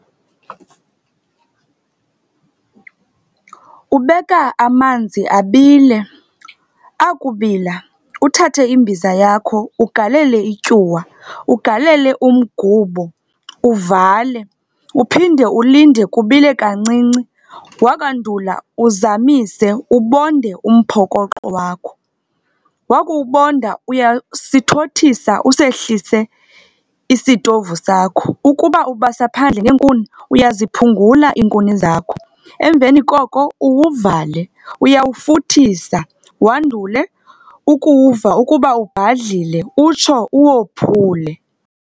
Ubeka amanzi abile. Akubila, uthathe imbiza yakho ugalele ityuwa, ugalele umgubo, uvale. Uphinde ulinde kubile kancinci. Wakwandula, uzamise, ubonde umphokoqo wakho. Wakuwubonda, uyasithothisa usehlise isitovu sakho. Ukuba ubasa phandle ngeenkuni, uyaziphungula iinkuni zakho. Emveni koko, uwuvale. Uyawufuthisa, wandule ukuwuva ukuba ubhadlile, utsho uwophule.